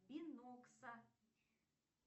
бинокса